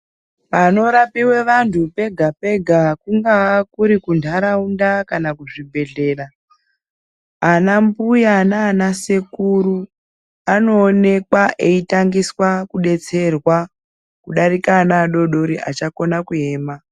Panorapiwe vantu pega pega kungava kuri kundaraunda kana kuzvibhedhlera, ana mbuya naanasekuru anoonekwa eitangisa kudetserwa kudarika ana adoodori achakona kuema.